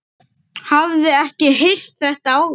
Hafði ekki heyrt þetta áður.